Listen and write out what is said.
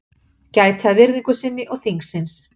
Gæti að virðingu sinni og þingsins